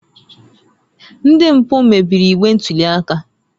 Ndị mpụ mebiri igbe ntụli aka